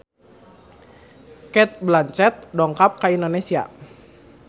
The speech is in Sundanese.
Cate Blanchett dongkap ka Indonesia